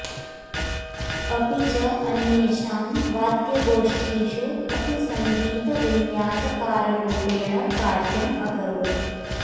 अपि च अन्येषां वाद्यगोष्ठीषु अपि सङ्गीतविन्यासकाररूपेण कार्यम् अकरोत्